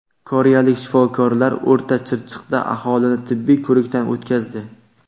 Koreyalik shifokorlar O‘rta Chirchiqda aholini tibbiy ko‘rikdan o‘tkazdi.